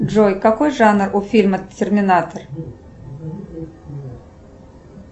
джой какой жанр у фильма терминатор